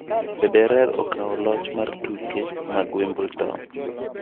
Federer okawo loch mar tuke mag Wimbledon